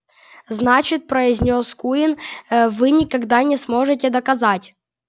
значит произнёс куинн вы никогда не сможете доказать